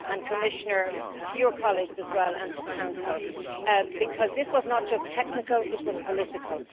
And Commissioner, thanks go to your colleagues as well, and to the Council, because this was not just technical it was political.